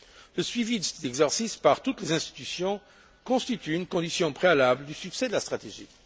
Le suivi de cet exercice par toutes les institutions constitue une condition préalable au succès de la stratégie.